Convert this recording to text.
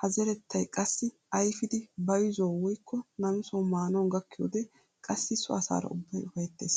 Ha zerettay qassi ayfidi bayzuwawu woykko namisawu maanawu gakkiyoodee qassi so asaara ubbay ufayttes.